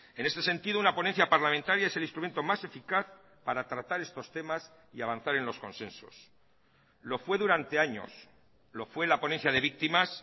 en este sentido una ponencia parlamentaria es el instrumento más eficaz para tratar estos temas y avanzar en los consensos lo fue durante años lo fue la ponencia de víctimas